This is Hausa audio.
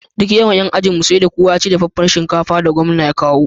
Duk yawan yan ajinmu sai da kowa yaci dafaffar shinkafar da gwamna ya kawo